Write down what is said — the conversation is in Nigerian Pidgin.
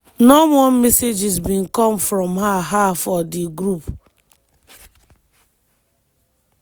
no more messages bin come from her her for di group.